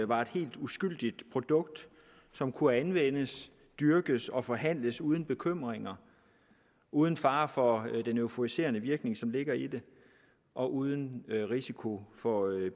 var et helt uskyldigt produkt som kunne anvendes dyrkes og forhandles uden bekymringer uden fare for den euforiserende virkning som ligger i det og uden risiko for